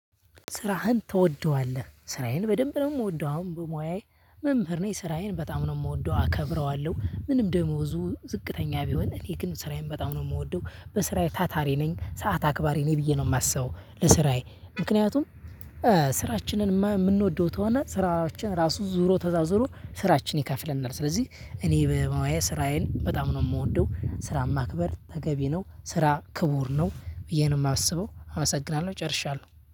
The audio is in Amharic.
ስራህን ትወደዋለህ? ስራዬን በደንብ ነው የምወደው አሁን በሙያዬ መምህር ነኝ ስራዬን በጣም ነው የምወደው አከብረዋለሁ። ምንም ደሞዙ ዝቅተኛ ቢሆን እኔ ግን ስራዬን በጣም ነው የምወደው። በስራዬ ታታሪ ነኝ ሰዓት አክባሪ ነኝ ብዬ ነው የማስበው። ለስራዬ ምክንያቱም ስራችንን የምንወደው ተሆነ ስራችን ራሱ ዞሮ ተዛዝሮ ስራችን ይከፍለናል። ስለዚህ እኔ በሙያየ ስራዬን በጣም ነው የምወደው። ስራ ማክበር ተገቢ ነው ስራ ክቡር ነው። ብዬ ነው የማስበው አመሰግናለሁ ጨርሻለሁ